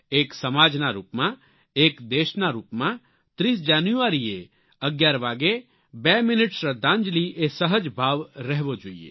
એક સમાજના રૂપમાં એક દેશના રૂપમાં 30 જાન્યુઆરીએ 11 વાગ્યે 2 મિનિટ શ્રદ્ધાંજલિ એ સહજ ભાવ રહેવો જોઈએ